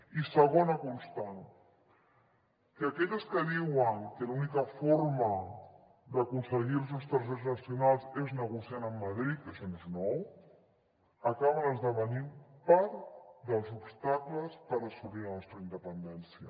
i segona constant que aquelles que diuen que l’única forma d’aconseguir els nostres drets nacionals és negociant amb madrid que això no és nou acaben esdevenint part dels obstacles per assolir la nostra independència